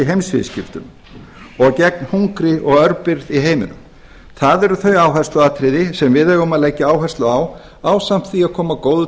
heimsviðskiptum og gegn hungri og örbirgð í heiminum það eru þau áhersluatriði sem við eigum að leggja áherslu á ásamt því að koma góðu til